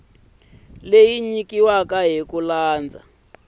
leyi nyikiweke hi ku landza